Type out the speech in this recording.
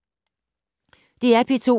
DR P2